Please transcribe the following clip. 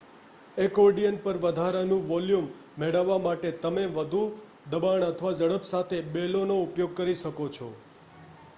accordion પર વધારાનું volume મેળવવા માટે, તમે વધુ દબાણ અથવા ઝડપ સાથે બેલોનો ઉપયોગ કરો શકો છો